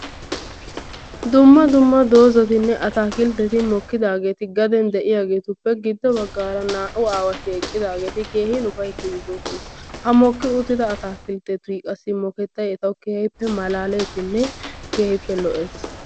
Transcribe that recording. Dumma dumma dozatinne ataakiltetti de'iyageetuppe gido bagaara naa''u asati eqidaageti keehi ufaytiidi de'oosona. ha santtaa mokettay keehippe lo'ees.